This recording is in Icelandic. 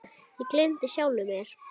Ég gleymdi sjálfum mér.